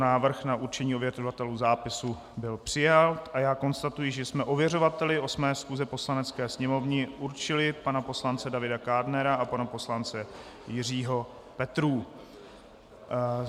Návrh na určení ověřovatelů zápisu byl přijat a já konstatuji, že jsme ověřovateli 8. schůze Poslanecké sněmovny určili pana poslance Davida Kádnera a pana poslance Jiřího Petrů.